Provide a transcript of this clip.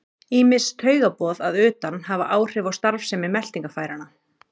Ýmis taugaboð að utan hafa áhrif á starfsemi meltingarfæranna.